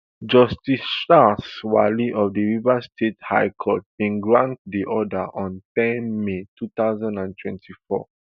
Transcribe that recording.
justice charles wali of di rivers state high court bin grant di order on ten may two thousand and twenty-four